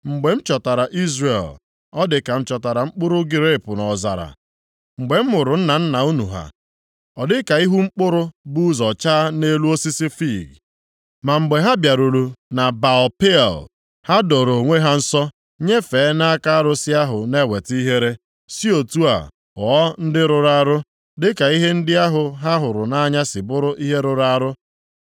“Mgbe m chọtara Izrel, ọ dị ka m chọtara mkpụrụ grepu nʼọzara; mgbe m hụrụ nna nna unu ha, ọ dị ka ihu mkpụrụ bụ ụzọ chaa nʼelu osisi fiig. Ma mgbe ha bịaruru na Baal-Peoa, ha doro onwe ha nsọ nyefee nʼaka arụsị ahụ na-eweta ihere, si otu a ghọọ ndị rụrụ arụ, dịka ihe ndị ahụ ha hụrụ nʼanya si bụrụ ihe rụrụ arụ.